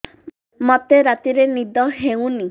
ମୋତେ ରାତିରେ ନିଦ ହେଉନି